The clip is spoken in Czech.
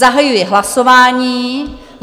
Zahajuji hlasování.